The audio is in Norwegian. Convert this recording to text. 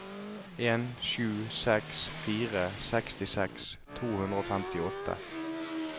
en sju seks fire sekstiseks to hundre og femtiåtte